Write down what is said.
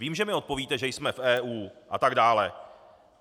Vím, že mi odpovíte, že jsme v EU, a tak dále.